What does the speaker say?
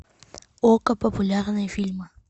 окко популярные фильмы